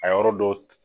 A yɔrɔ dɔ